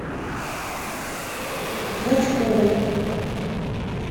клочковой